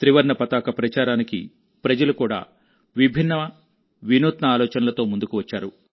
త్రివర్ణ పతాక ప్రచారానికి ప్రజలు కూడా విభిన్నమైన వినూత్న ఆలోచనలతో ముందుకు వచ్చారు